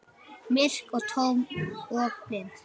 Myrk og tóm og blind.